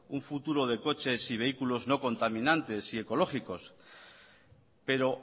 un futuro de coches y vehículo no contaminantes y ecológicos pero